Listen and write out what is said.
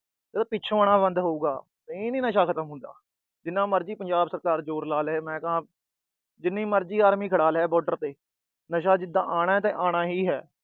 ਜਦੋਂ ਪਿੱਛੋਂ ਆਉਣਾ ਬੰਦ ਹੋਊਗਾ, ਨਹੀਂ ਨੀ ਨਸ਼ਾ ਖਤਮ ਹੁੰਦਾ। ਜਿੰਨਾ ਮਰਜੀ ਪੰਜਾਬ ਸਰਕਾਰ ਜੋਰ ਲਾ ਲੈ, ਮੈਂ ਕਹਾਂ, ਜਿੰਨੀ ਮਰਜੀ army ਖੜਾ ਲੈ border ਤੇ। ਨਸ਼ਾ ਜਿਦਾਂ ਆਣਾ ਤਾਂ ਆਣਾ ਹੀ ਹੈ।